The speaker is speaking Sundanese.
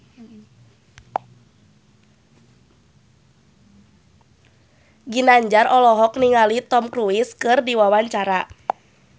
Ginanjar olohok ningali Tom Cruise keur diwawancara